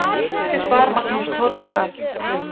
Hérlendis bar Magnús Torfi